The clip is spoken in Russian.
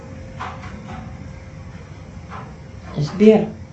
сбер